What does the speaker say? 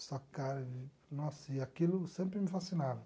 Stock car, nossa, e aquilo sempre me fascinava.